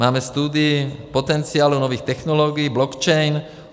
Máme studii potenciálu nových technologií blockchain.